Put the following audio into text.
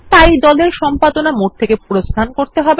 তাই দল এর সম্পাদনা মোড থেকে প্রস্থান করতে হবে